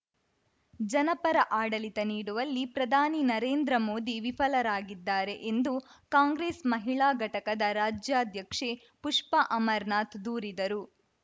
ಜನಪರ ಆಡಳಿತ ನೀಡುವಲ್ಲಿ ಪ್ರಧಾನಿ ನರೇಂದ್ರ ಮೋದಿ ವಿಫಲರಾಗಿದ್ದಾರೆ ಎಂದು ಕಾಂಗ್ರೆಸ್‌ ಮಹಿಳಾ ಘಟಕದ ರಾಜ್ಯಾಧ್ಯಕ್ಷೆ ಪುಷ್ಪಾ ಅಮರನಾಥ್‌ ದೂರಿದರು